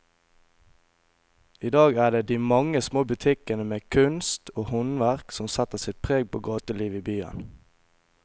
I dag er det de mange små butikkene med kunst og håndverk som setter sitt preg på gatelivet i byen.